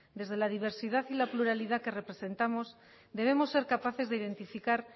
desde la diversidad y la pluralidad que representamos debemos ser capaces de identificar